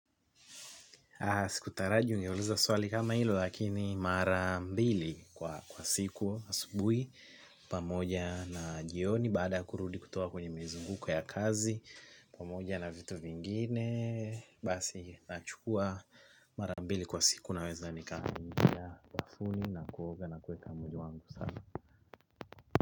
Sikutaraji uniulize swali kama hilo lakini mara mbili kwa siku asubuhi pamoja na jioni baada ya kurudi kutoka kwenye mizunguko ya kazi pamoja na vitu vingine basi nachukua mara mbili kwa siku naweza nikaingia bafuni na kuoga na kuweka mwili wangu safi.